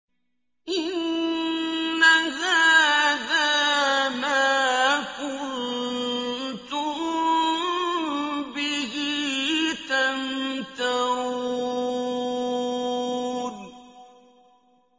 إِنَّ هَٰذَا مَا كُنتُم بِهِ تَمْتَرُونَ